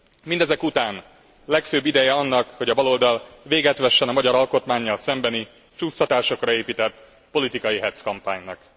Mindezek után legfőbb ideje annak, hogy a baloldal véget vessen a magyar alkotmánnyal szembeni, csúsztatásokra épített politikai hecc kampánynak.